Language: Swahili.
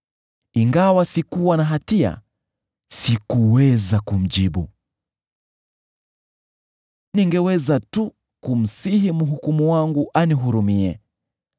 Ingawa sikuwa na hatia, sikuweza kumjibu; ningeweza tu kumsihi Mhukumu wangu anihurumie.